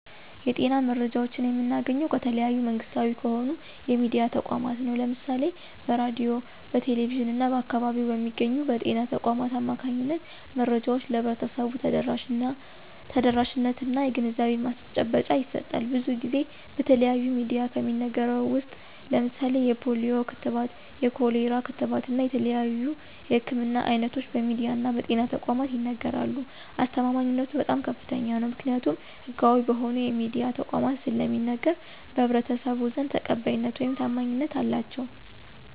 የጤና መረጃዎችን የምናገኘው ከተለያዩ መንግስታዊ ከሆኑ የሚድያ ተቋማት ነው። ለምሳሌ በሬድዮ፣ በቴሌቪዥን እና በአካባቢው በሚገኙ በጤና ተቋማት አማካኝነት መረጃዎች ለህብረተሰቡ ተደራሽነት እና የግንዛቤ ማስጨበጫ ይሰጣል። ብዙን ጊዜ በተለያዩ ሚድያዎች ከሚነገረው ውስጥ ለምሳሌ የፖሊዮ ክትባት፣ የኮሌራ ክትባት እና የተለያዩ የህክምና አይነቶች በሚድያ እና በጤና ተቋማት ይነገራሉ። አስተማማኝነቱ በጣም ከፍተኛ ነው። ምክኒያቱም ህጋዊ በሆኑ የሚድያ ተቋማት ስለሚነገር በህብረተሰቡ ዘንድ ተቀባይነት ውይም ታማኝነት አላቸው።